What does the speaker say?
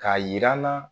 K'a yir'an na